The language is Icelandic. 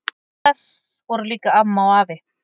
En þar voru líka amma og afi.